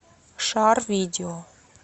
шар видео